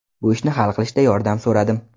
Bu ishni hal qilishda yordam so‘radim.